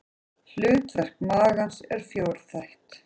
Hlutverk magans er fjórþætt.